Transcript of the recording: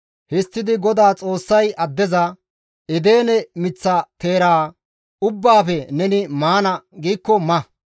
Histtidi GODAA Xoossay addeza, «Edene miththa teera ubbaafe neni maana giikko ma;